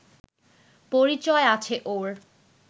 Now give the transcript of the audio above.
পরিচয় আছে ওর